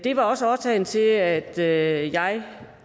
det var også årsagen til at jeg